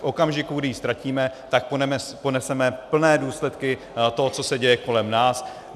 V okamžiku, kdy ji ztratíme, tak poneseme plné důsledky toho, co se děje kolem nás.